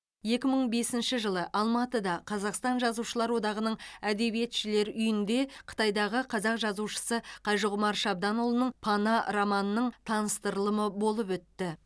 екі мың бесінші жылы алматыда қазақстан жазушылар одағының әдебиетшілер үйінде қытайдағы қазақ жазушысы қажығұмар шабданұлының пана романының таныстырылымы болып өтті